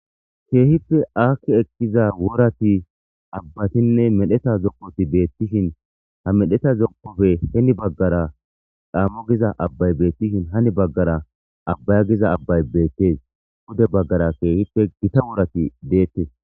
Kehippe aaki ekkiza worati abbatine medhdheta zookoti bettishin ha medhdheta zookoppe heni baggara caamo giiza abbay bettishin hani baggara abbaya giiza abbay bettes puude baggara kehippe giita worati dettes.